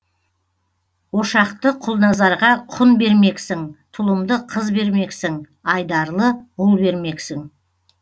ошақты құлназарға құн бермексің тұлымды қыз бермексің айдарлы ұл бермексің